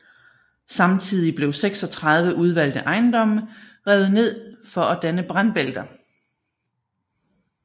Samtidig blev 36 udvalgte ejendomme revet ned for at danne brandbælter